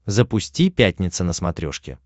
запусти пятница на смотрешке